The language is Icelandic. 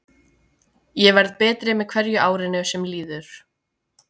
Ég verð betri með hverju árinu sem líður.